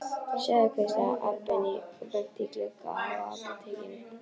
Sjáðu, hvíslaði Abba hin og benti á gluggana á apótekinu.